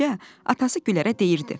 atası Gülərə deyirdi: